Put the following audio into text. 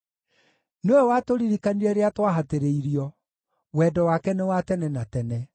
nĩwe watũririkanire rĩrĩa twahatĩrĩirio, Wendo wake nĩ wa tene na tene.